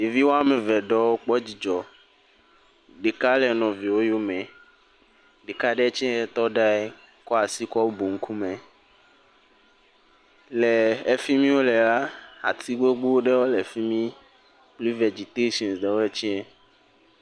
Ɖevi woame eve ɖewo kpɔ dzidzɔ, ɖeka le nɔvie wo yome, ɖeka ɖe tsɛ tɔ ɖe anyi kɔ asi kɔ bu ŋkume, le efi mi wole la, ati gbogbo ɖewo le fi mi, frii vɛdzitetsin ɖewɔe tsɛ,